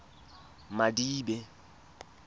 madibe